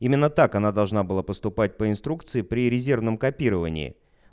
именно так она должна была поступать по инструкции при резервном копировании